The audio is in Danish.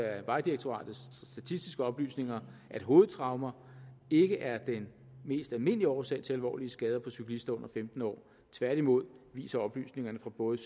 af vejdirektoratets statistiske oplysninger at hovedtraumer ikke er den mest almindelige årsag til alvorlige skader på cyklister under femten år tværtimod viser oplysningerne fra både